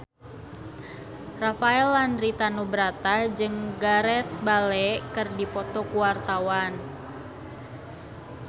Rafael Landry Tanubrata jeung Gareth Bale keur dipoto ku wartawan